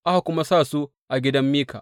Aka kuwa sa su a gidan Mika.